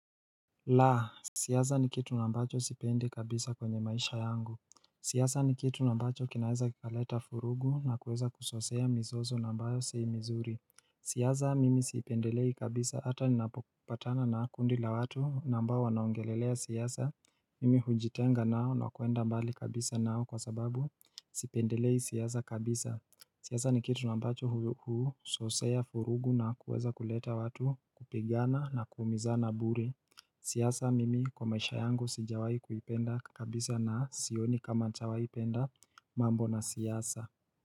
Laa siyasa ni kitu ambacho sipendi kabisa kwenye maisha yangu siyasa ni kitu nambacho kinaweza kikaleta furugu na kuweza kuzosea misoso nambayo si mizuri siyasa mimi sipendelei kabisa hata ni napopatana na kundi la watu nambayo wanaongelelea siasa Mimi hujitenga nao na kuenda mbali kabisa nao kwa sababu sipendelei siasa kabisa siasa ni kitu nambacho huu zosea vurugu na kuweza kuleta watu kupigana na kuumiza na buri siasa mimi kwa maisha yangu sijawai kuipenda kabisa na sioni kama nitawahipenda mambo na siasa.